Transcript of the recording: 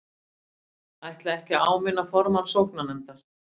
Ætla ekki að áminna formann sóknarnefndar